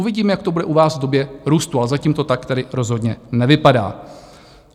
Uvidíme, jak to bude u vás v době růstu, ale zatím to tak tedy rozhodně nevypadá.